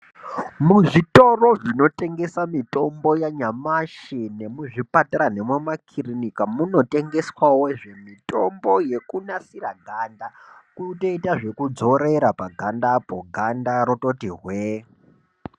Muzvitoro zvinotengesa mitombo yanyamashi, nemuzvipatara nemumakirinika, munotengeswawo mitombo yekunasira ganda. Kutoita zvekudzorera pagandapo, ganda rototi hwee.